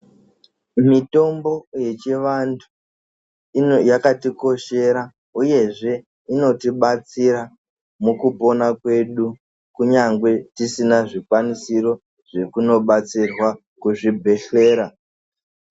Mutombo yechivantu ino yakatikoshera uyezve inotibatsira mukupona kwedu kunyangwe tisina zcikwanisiro zvekunobatsirwa kuzvibhehlera.